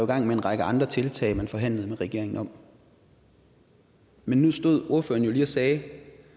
gang med en række andre tiltag som man forhandlede med regeringen om men nu stod ordføreren lige og sagde